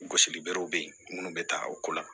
Gosili berew be yen munnu be ta o ko la